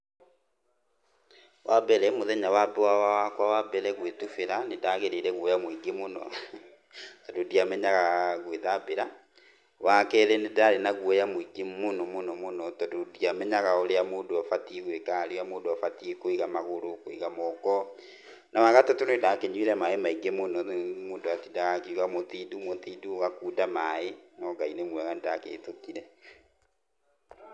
Wa mbere mũthenya wakwa wa mbere gũĩtubĩra nĩ ndagĩire guoya mũingĩ mũno, tondũ ndiamenyaga gũĩthambĩra, wa kerĩ, nĩ ndarĩ na guoya muingĩ mũno mũno, tondũ ndiamenyaga ũrĩa mũndũ abatie gũika kana harĩa mũndũ abatie kũiga magũrũ, kũiga moko na wa gatatũ, nĩ ndakĩnyuire maĩ maingĩ mũno rĩu mũndũ atĩndaga akiuga mũtindu mũtindu ũgakunda maaĩ no Ngai nĩ mwega nĩndakĩhĩtũkire.